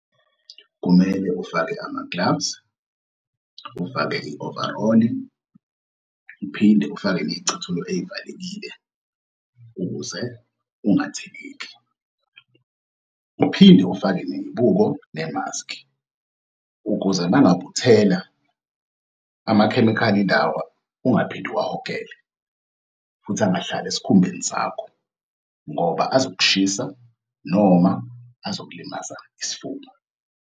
Kumele ufake ama-gloves, ufake i-overall-i, uphinde ufake ney'cathulo ey'valekile ukuze ungatheleki. Uphinde ufake ney'buko nemaski ukuze uma ngabe uthela amakhemikhali ungaphinde uwahogele futhi angahlali esikhumbeni sakho ngoba azokushisa noma azokulimaza isifuba.